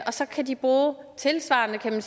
så kan de bruge tilsvarende